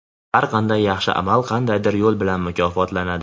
Har qanday yaxshi amal qandaydir yo‘l bilan mukofotlanadi.